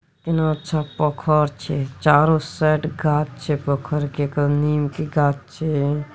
कितना अच्छा पोखर छै चारों साइड गाछ छै पोखर केकर नीम के गाछ छै।